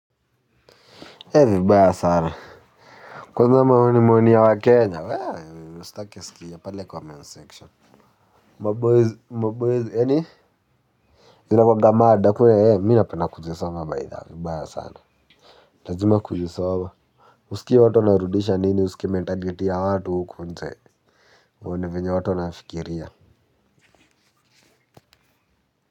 Hei vibaya sana. Kwanza maoni maoni ya waKenya, wee, usitake sikia pale comment section. Maboyz maboyz yaani? Inakwaga mada kwenye, mimi napenda kuzisoma baidha vibaya sana. Lazima kuzisoma usikie watu wanarudisha nini usikie mentality ya watu huku nje. Uone venye watu wanafikiria.